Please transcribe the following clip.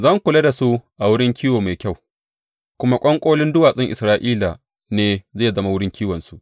Zan kula da su a wurin kiwo mai kyau, kuma ƙwanƙolin duwatsun Isra’ila ne zai zama wurin kiwonsu.